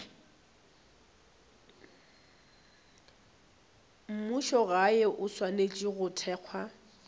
mmušogae o swanetše go thekga